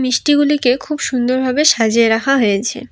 মিষ্টিগুলিকে খুব সুন্দর ভাবে সাজিয়ে রাখা হয়েছে।